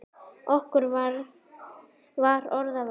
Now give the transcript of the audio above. Okkur var orða vant.